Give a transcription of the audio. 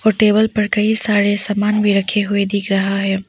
और टेबल पर कई सारे सामान भी रखे हुए दिख रहा है।